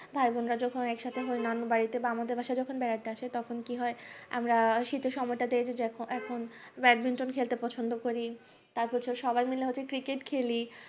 ভাই বোন রা যখন একসাথে হয় নানু দেড় বাড়িতে বা আমাদের বাড়িতে যখন বেড়াতে আসে আমরা শীত এর সময়ে তাতে যে এখুন badminton খেলতে পছন্দ করি তারপর হচ্ছে সবাই মাইল হচ্ছে cricket খেলি